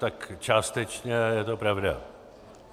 Tak částečně je to pravda.